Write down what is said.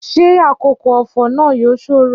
Ṣé àkókò ọ̀fọ̀ náà yóò ṣòro?